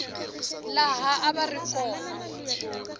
laha a va ri kona